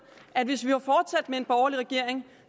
at hvis vi var fortsat med en borgerlig regering